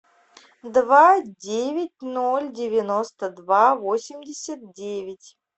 два девять ноль девяносто два восемьдесят девять